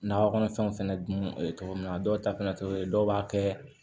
Nakɔ kɔnɔfɛnw fɛnɛ dun ye cogo min na dɔw ta fana tɛ o ye dɔw b'a kɛ